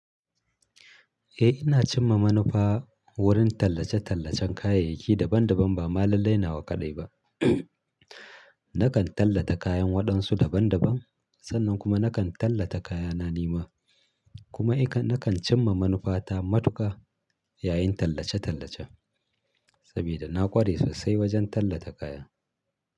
Eh ina cimma manufa wurin tallace-tallacen kayayyaki daban daban ba ma lallai nawa ƙaɗai ba. Nakan tallata kayan waɗansu daban daban, sannan kuma nakan tallata kayana nima kuma nakan cimma manufata matuka yayin tallace-tallace sabida na ƙware sosai wajen tallata kaya.